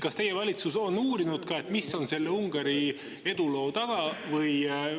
Kas teie valitsus on uurinud, mis on Ungari eduloo taga?